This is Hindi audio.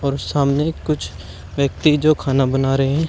और सामने कुछ व्यक्ति जो खाना बना रहे--